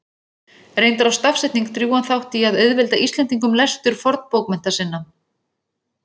Reyndar á stafsetning drjúgan þátt í að auðvelda Íslendingum lestur fornbókmennta sinna.